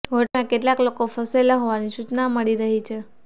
હોટલમાં કેટલાક લોકો ફસાયેલા હોવાની સૂચના મળી રહી છે